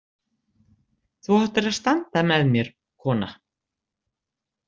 Þú áttir að standa með mér, kona.